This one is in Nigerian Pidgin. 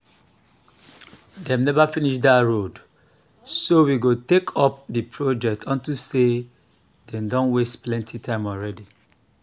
dey never finish dat road so we go take up the project unto say dey don waste plenty time already